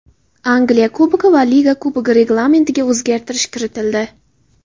Angliya Kubogi va Liga Kubogi reglamentiga o‘zgartirish kiritildi.